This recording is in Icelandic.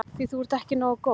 Því þú ert ekki nógu góð.